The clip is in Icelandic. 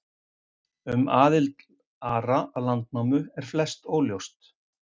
Um aðild Ara að Landnámu er flest óljóst.